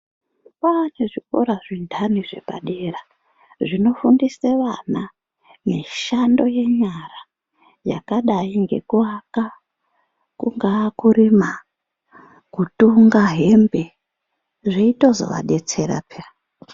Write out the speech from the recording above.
Kwaane zvikora zvindani zvepadera zvinofundise vana mishando yenyara yakadai ngenkuwaka kungaa kurima kutunga hembe zveitozo adetsera peya .